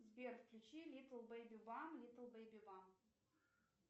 сбер включи литл бэйби бам литл бэйби бам